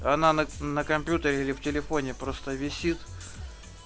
на компьютере или в телефоне просто висит